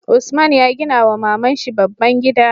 Usman ya gina wa maman shi babban gida